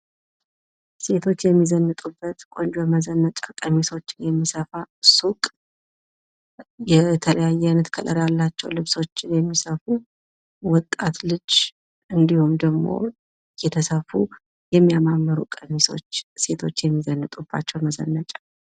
ሴቶች የሚዘንጡባቸውን ቆንጆ መዘነጫ ቀሚሶች የሚሰፋበት ሱቅ። የተለያየ ቀለም ያላቸውን ልብሶችን የሚሰፋ ወጣት ልጅ፤ እንዲሁም ደግሞ የተሰፉ የሚያማምሩ የሴቶች መዘነጫ ቀሚሶች ይታያሉ።